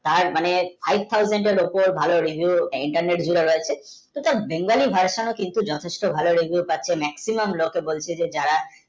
তার মানে five thousand ওপর ভালোই reviews internet গুলো রয়েছে তো তার বেঙ্গলি ভাষা কিন্তু যথেষ্ট ভালো review পাচ্ছে maximum লোকে বলছে যারা